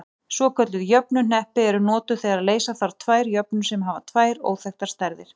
Svokölluð jöfnuhneppi eru notuð þegar leysa þarf tvær jöfnur sem hafa tvær óþekktar stærðir.